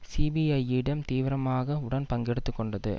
சிபிஐயிடம் தீவிரமாக உடன் பங்கெடுத்துக்கொண்டது